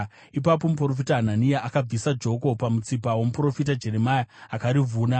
Ipapo muprofita Hanania akabvisa joko pamutsipa womuprofita Jeremia akarivhuna,